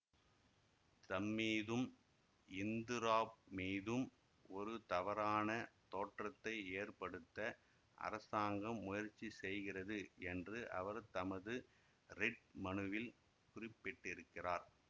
தம்மீதும் Hindraf மீதும் ஒரு தவறான தோற்றத்தை ஏற்படுத்த அரசாங்கம் முயற்சி செய்கிறது என்று அவர் தமது ரிட் மனுவில் குறிப்பிட்டிருக்கிறார்